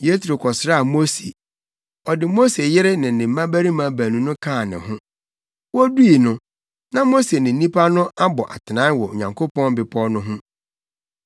Yetro kɔsraa Mose. Ɔde Mose yere ne ne mmabarima baanu no kaa ne ho. Wodui no, na Mose ne nnipa no abɔ atenae wɔ Onyankopɔn bepɔw no ho.